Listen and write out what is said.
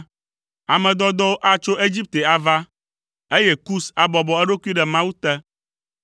Ame dɔdɔwo atso Egipte ava, eye Kus abɔbɔ eɖokui ɖe Mawu te.